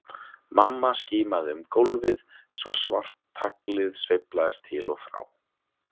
Mamma skimaði um gólfið svo svart taglið sveiflaðist til og frá.